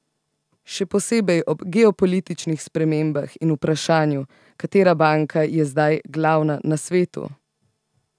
Še posebej ob geopolitičnih spremembah in vprašanju, katera banka je zdaj glavna na svetu?